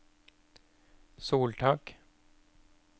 soltak